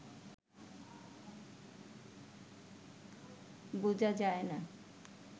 বুঝা যায় না